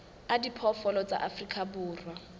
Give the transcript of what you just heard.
a diphoofolo tsa afrika borwa